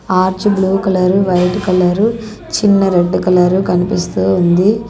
Arch blue colour white colour చిన్న red colour కనిపిస్తూ ఉంది.